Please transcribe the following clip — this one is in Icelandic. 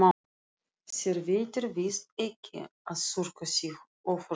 Þér veitir víst ekki af að þurrka þig ofurlítið.